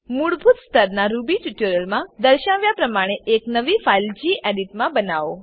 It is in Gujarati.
મૂળભૂત સ્તરનાં રૂબી ટ્યુટોરીયમાં દર્શાવ્યા પ્રમાણે એક નવી ફાઈલ ગેડિટ માં બનાવો